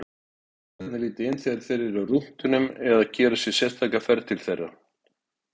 Krakkarnir líta inn þegar þeir eru á rúntinum eða gera sér sérstaka ferð til þeirra.